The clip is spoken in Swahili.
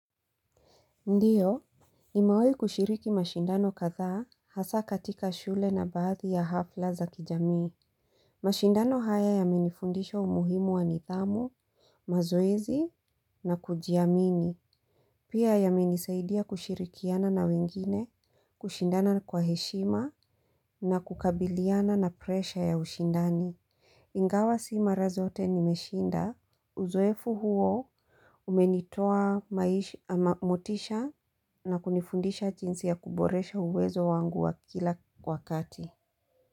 Ndiyo, nimewahi kushiriki mashindano kadhaa hasa katika shule na baadhi ya hafla za kijamii. Mashindano haya yamenifundisha umuhimu wa nidhamu, mazoezi na kujiamini. Pia yamenisaidia kushirikiana na wengine, kushindana kwa heshima na kukabiliana na presha ya ushindani. Ingawa si mara zote nimeshinda. Uzoefu huo umenitoa motisha na kunifundisha jinsi ya kuboresha uwezo wangu wa kila wakati.